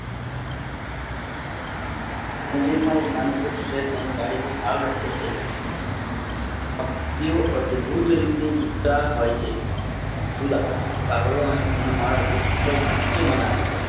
નજીક માં એક નાનું વૃક્ષ છે. તેની ડાલી પર માળો લટકે છે પક્ષીઓ અદભુત રીતે જીવ તા હોય છે જીવતા હોય છે. કાગડો અને તેનો માળો વૃક્ષ પાર ઉંચે બનાવેછે.